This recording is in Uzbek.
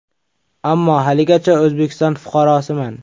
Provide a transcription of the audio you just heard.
Ammo haligacha O‘zbekiston fuqarosiman.